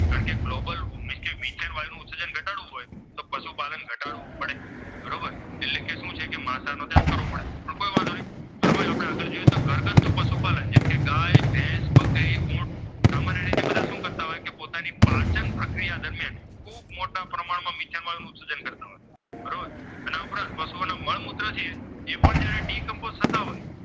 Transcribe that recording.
સત્તાઓએ